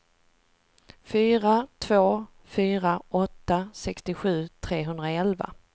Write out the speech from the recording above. fyra två fyra åtta sextiosju trehundraelva